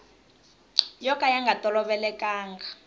yo ka ya nga tolovelekanga